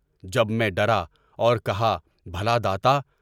جب میں ڈرا اور کہا بھلا داتا!